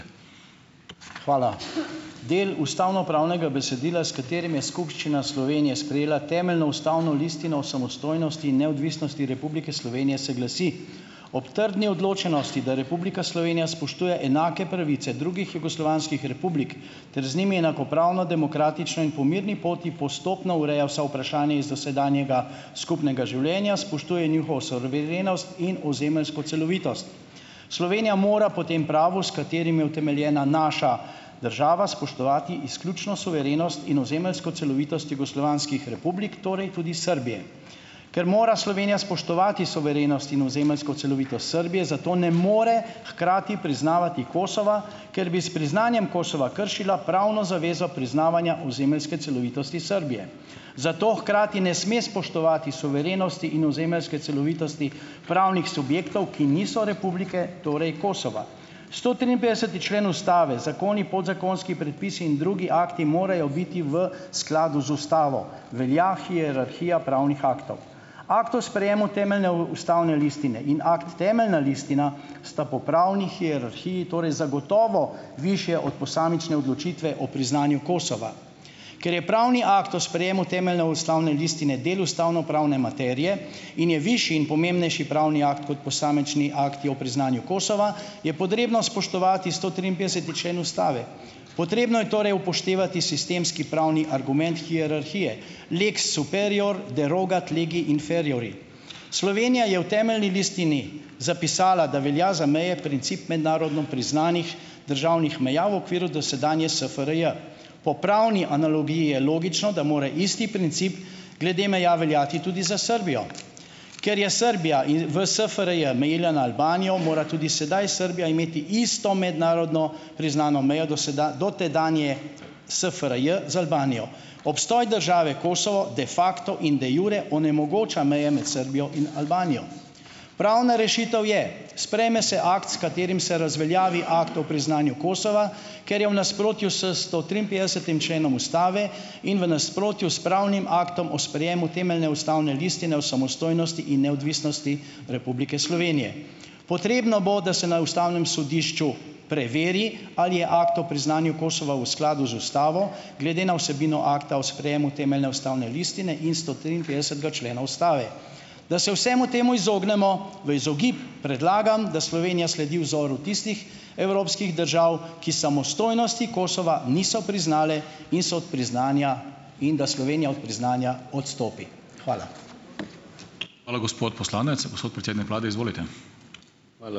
Hvala. Del ustavnopravnega besedila, s katerim je Skupščina Slovenije sprejela Temeljno ustavno listino o samostojnosti in neodvisnosti Republike Slovenije se glasi: "Ob trdni odločenosti , da Republika Slovenija spoštuje enake pravice drugih jugoslovanskih republik ter z njimi enakopravno, demokratično in po mirni poti postopno ureja vsa vprašanja iz dosedanjega skupnega življenja, spoštuje njihovo suverenost in ozemeljsko celovitost." Slovenija mora po tem pravu, s katerim je utemeljena naša država, spoštovati izključno suverenost in ozemeljsko celovitost jugoslovanskih republik, torej tudi Srbije. Ker mora Slovenija spoštovati suverenost in ozemeljsko celovitost Srbije, zato ne more hkrati priznavati Kosova, ker bi s priznanjem Kosova kršila pravno zavezo priznavanja ozemeljske celovitosti Srbije. Zato hkrati ne sme spoštovati suverenosti in ozemeljske celovitosti pravnih subjektov, ki niso republike, torej Kosova. Sto triinpetdeseti člen ustave: "Zakoni, podzakonski predpisi in drugi akti morajo biti v skladu z ustavo." Velja hierarhija pravnih aktov. Akt o sprejemu Temeljne ustavne listine in akt Temeljna listina sta po pravni hierarhiji torej zagotovo višje od posamične odločitve o priznanju Kosova. Ker je pravni akt o sprejemu Temeljne ustavne listine del ustavnopravne materije in je višji in pomembnejši pravni akt kot posamični akti o priznanju Kosova, je potrebno spoštovati sto triinpetdeseti člen ustave. Potrebno je torej upoštevati sistemski pravni argument hierarhije, lex superior derogat legi inferiori. Slovenija je v Temeljni listini zapisala, da velja za meje princip mednarodno priznanih državnih meja v okviru dosedanje SFRJ. Po pravni analogiji je logično, da mora isti princip glede meja veljati tudi za Srbijo. Ker je Srbija in v SFRJ mejila na Albanijo, mora tudi sedaj Srbija imeti isto mednarodno priznano mejo do do tedanje SFRJ z Albanijo. Obstoj države Kosovo da facto in de iure onemogoča meje med Srbijo in Albanijo . Pravna rešitev je: sprejme se akt, s katerim se razveljavi akt o priznanju Kosova, ker je v nasprotju s sto triinpetdesetim členom ustave in v nasprotju s pravnim aktom o sprejemu Temeljne ustavne listine o samostojnosti in neodvisnosti Republike Slovenije. Potrebno bo, da se na ustavnem sodišču preveri, ali je akt o priznanju Kosova v skladu z ustavo glede na vsebino akta o sprejemu Temeljne ustavne listine in sto triinpetdesetega člena ustave. Da se vsemu temu izognemo, v izogib, predlagam, da Slovenija sledi vzoru tistih evropskih držav, ki samostojnosti Kosova niso priznale in so od priznanja, in da Slovenija od priznanja odstopi. Hvala. Hvala, gospod poslanec. Gospod predsednik vlade, izvolite. Hvala.